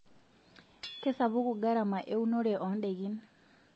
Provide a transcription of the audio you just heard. Kesapuku garama eunore oondaikin.